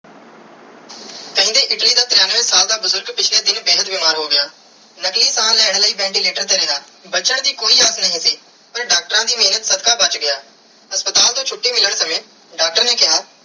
ਕੇਂਦੇ ਇਟਲੀ ਦਾ ਤ੍ਰਿਣਵੇ ਸਾਲ ਦਾ ਬੁਜ਼ਰਗ ਪਿਛਲੇ ਦਿਨ ਬੇਹੱਦ ਬਿਮਾਰ ਹੋ ਗਿਆ ਨਕਲੀ ਸਾਹ ਲੈਣ ਲਾਇ ventilator ਤੇ ਰਿਆ ਬਚਨ ਦੀ ਕੋਈ ਆਗਿਆ ਨਾਈ ਸੀ ਪਾਰ ਡਾਕਟਰਾਂ ਦੀ ਮੇਹਰ ਸਦਕਾ ਬਚ ਗਿਆ ਹਸਪਤਾਲ ਤੂੰ ਛੁਟੀ ਮਿਲਣ ਸਮਾਂ ਡਾਕਟਰ ਨੇ ਕੀਆ.